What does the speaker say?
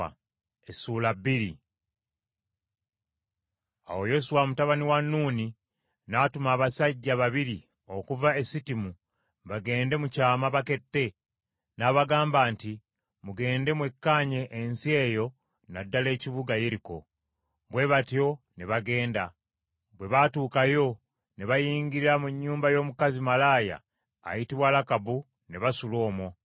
Awo Yoswa mutabani wa Nuuni n’atuma abasajja babiri okuva e Sittimu bagende mu kyama bakette, n’abagamba nti, “Mugende mwekkaanye ensi eyo na ddala ekibuga Yeriko .” Bwe batyo ne bagenda. Bwe baatuukayo ne bayingira mu nnyumba y’omukazi malaaya ayitibwa Lakabu ne basula omwo.